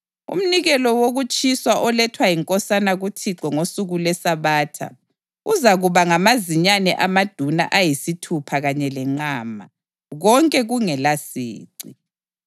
Umnikelo wokutshiswa olethwa yinkosana kuThixo ngosuku lweSabatha uzakuba ngamazinyane amaduna ayisithupha kanye lenqama, konke kungelasici.